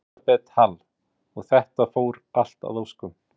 Elísabet Hall: Og þetta fór allt að óskum?